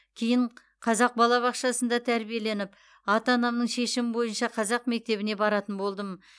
кейін қазақ балабақшасында тәрбиеленіп ата анамның шешімі бойынша қазақ мектебіне баратын болдым